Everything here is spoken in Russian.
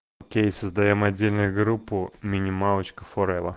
окей создаём отдельную группу минималочка форева